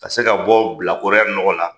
Ka se ka bɔ bilakɔrɔya nɔgɔ la